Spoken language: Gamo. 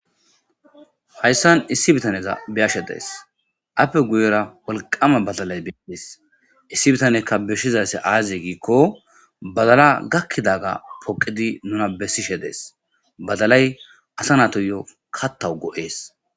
Hayssan issi biittaneza beyashe de'ayssii aappe guyera wolqamma baddallay dees issi bittanykka besizay azee gikko baddallay gakidagga poqidi nuna besishe dees baddallay asa natuyo kaththaw go'oes